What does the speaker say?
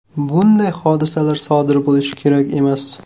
Bunday hodisalar sodir bo‘lishi kerak emas.